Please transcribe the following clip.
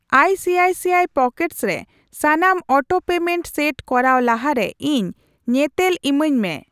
ICICI pockets ᱨᱮ ᱥᱟᱱᱟᱢ auto payment set ᱠᱚᱨᱟᱣ ᱞᱟᱦᱟᱨᱮ ᱤᱧ ᱧᱮᱛᱮᱞ ᱤᱢᱟᱹᱧ ᱢᱮ ᱾